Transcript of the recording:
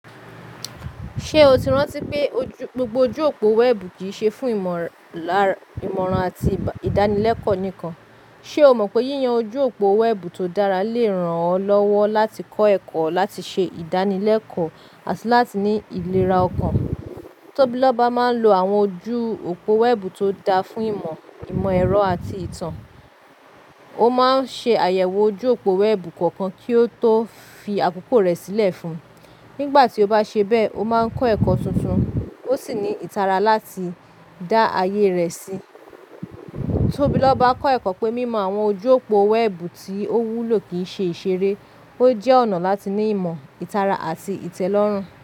Ṣé o ti rántí pé gbogbo ojú òpó wẹ́ẹ̀bù kì í ṣe fún ìmọ̀ràn àti ìdánilẹ́kọ̀ọ́ nìkan? Ṣé o mọ̀ pé yíyan ojú òpó wẹ́ẹ̀bù tó dára lè ràn ọ́ lọ́wọ́ láti kọ́ ẹ̀kọ́, láti ṣe ìdánilẹ́kọ̀ọ́, àti láti ní ìlera ọkàn? Tóbi lọ́ba máa ń lo àwọn ojú òpó wẹ́ẹ̀bù tó dáa fún ìmọ̀, ìmọ̀ ẹ̀rọ àti ìtàn. Ó má ń ṣe àyẹ̀wò ojú òpó wẹ́ẹ̀bù kọ̀ọ̀kan kí ó tó fi àkókò rẹ̀ sílẹ̀ fún un. Nígbà tí ó bá ṣe bẹ́ẹ̀, ó má ń kọ́ ẹ̀kọ́ tuntun, ó sì ní ìtara láti dá ayé rẹ̀ sí i. Tóbi lọ́ba kọ́ ẹ̀kọ́ pé mímọ àwọn ojú òpó wẹ́ẹ̀bù tí ó wúlò kì í ṣe ìṣeré, ó jẹ́ ọ̀nà láti ní ìmọ̀, ìtara àti ìtẹ́lọ́rùn.